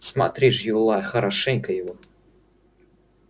смотри ж юлай хорошенько его